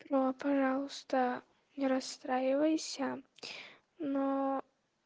бро пожалуйста не расстраивайся но